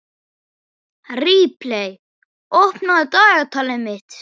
Ripley, opnaðu dagatalið mitt.